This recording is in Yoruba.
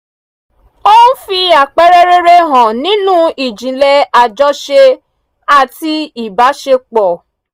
ó ń fi àpẹẹrẹ rere hàn nínú ìjìnlẹ̀ àjọṣe àti ìbáṣepọ̀